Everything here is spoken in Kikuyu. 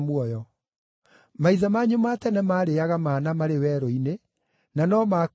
Maithe manyu ma tene maarĩĩaga mana marĩ werũ-inĩ, na no maakuire.